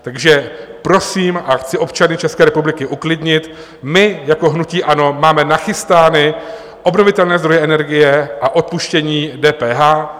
Takže prosím a chci občany České republiky uklidnit, my jako hnutí ANO máme nachystány obnovitelné zdroje energie a odpuštění DPH.